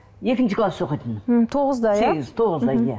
екінші класс оқитын м тоғызда иә сегіз тоғызда иә